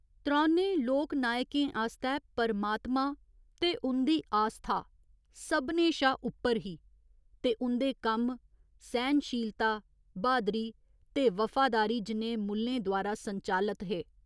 त्रौनें लोकनायकें आस्तै परमातमा ते उं'दी आस्था सभनें शा उप्पर ही ते उं'दे कम्म सैह्‌नशीलता, ब्हादरी ते वफादारी जनेहे मुल्लें द्वारा संचालत हे।